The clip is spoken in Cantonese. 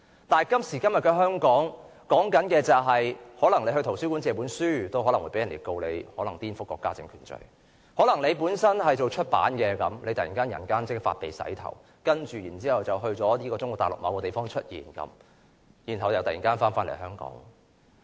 但是，今時今日的香港，可能在圖書館借書都會被告顛覆國家政權的罪名；可能有從事出版行業的人突然人間蒸發，然後在中國大陸某地方出現，接着又突然回港。